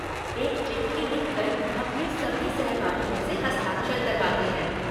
एक चिट्ठी लिख कर अपने सभी सहपाठियों से हस्ताक्षर करवाते हैं।